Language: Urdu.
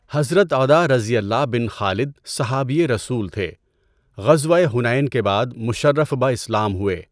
حضرت عداؓ بن خالد صحابیِ رسول تھے۔ غزوۂ حُنَین کے بعد مُشَرَّف بہ اسلام ہوئے۔